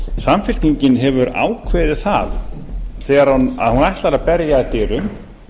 samfylkingin hefur ákveðið það að hún ætlar að berja að dyrum